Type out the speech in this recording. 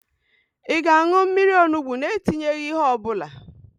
Ị ga-an̄ụ mmiri onugbo na-etinyeghị ihe ọbụla?